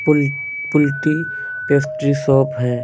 पूली पुलिटी pastry shop है ।